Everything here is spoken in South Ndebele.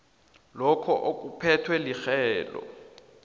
lokho okuphethwe lirhelo